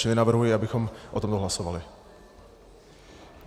Čili navrhuji, abychom o tomto hlasovali.